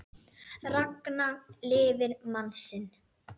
Ragna lifir mann sinn.